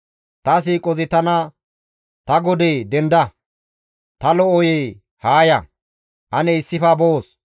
Ta siiqozi tana, ‹Ta godee, denda! Ta lo7oyee! Haa ya! Ane issife boos.